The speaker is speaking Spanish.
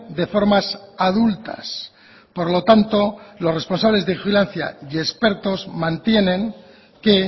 de formas adultas por lo tanto los responsables de vigilancia y expertos mantienen que